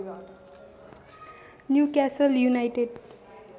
Newcastle United